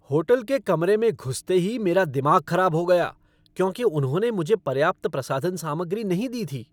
Hotel के कमरे में घुसते ही मेरा दिमाग ख़राब हो गया क्योंकि उन्होंने मुझे पर्याप्त प्रसाधन सामग्री नहीं दी थी।